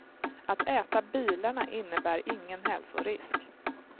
Att äta bilarna innebär ingen hälsorisk.